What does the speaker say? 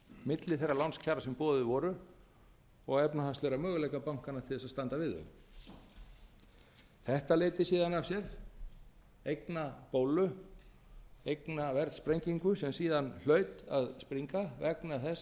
milli þeirra lánskjara sem boðin voru og efnahagslegra möguleika bankanna til þess að standa við þau þetta leiddi síðan af sér eignabólu eignaverðssprengingu sem síðan hlaut að springa vegna þess að hún